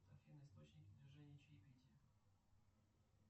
афина источники движения чаепития